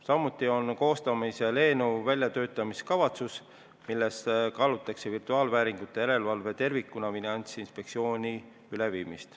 Samuti on koostamisel eelnõu väljatöötamiskavatsus, milles kaalutakse virtuaalvääringute järelevalve tervikuna üleviimist Finantsinspektsiooni alla.